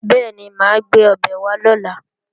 Bẹ́ẹ̀ni, mà á gbé ọbẹ̀ wá lọ̀la